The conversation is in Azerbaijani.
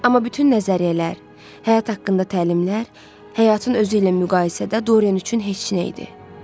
Amma bütün nəzəriyyələr, həyat haqqında təlimlər, həyatın özü ilə müqayisədə Dorian üçün heç nə idi.